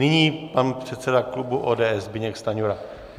Nyní pan předseda klubu ODS Zbyněk Stanjura.